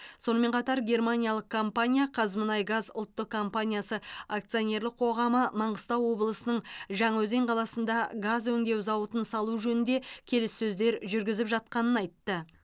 сонымен қатар германиялық компания қазмұнайгаз ұлттық компаниясы акционерлік қоғамы маңғыстау облысының жаңаөзен қаласында газ өңдеу зауытын салу жөнінде келіссөздер жүргізіп жатқанын айтты